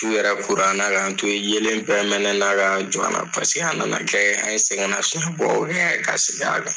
Su yɛrɛ kora an na kan to ye, yelen bɛɛ mɛnɛ na ka jɔ an na paseke a nana kɛ an ye sɛgɛn nasugu bɔ ka segi a kan.